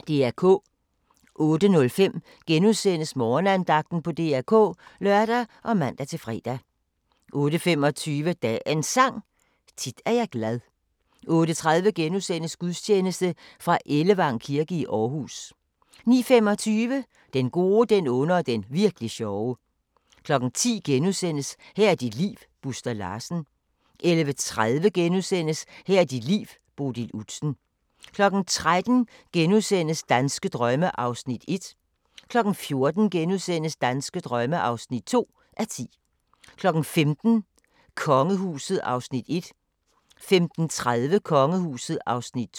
08:05: Morgenandagten på DR K *(lør og man-fre) 08:25: Dagens Sang: Tit er jeg glad 08:30: Gudstjeneste fra Ellevang kirke i Aarhus * 09:25: Den gode, den onde og den virk'li sjove 10:00: Her er dit liv - Buster Larsen * 11:30: Her er dit liv – Bodil Udsen * 13:00: Danske drømme (1:10)* 14:00: Danske drømme (2:10)* 15:00: Kongehuset (Afs. 1) 15:30: Kongehuset (Afs. 2)